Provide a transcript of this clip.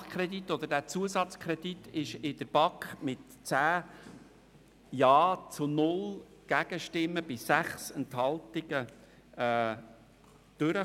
Dieser Nachkredit respektive dieser Zusatzkredit kam in der BaK mit 10 Ja-Stimmen zu 0 Gegenstimmen bei 6 Enthaltungen durch.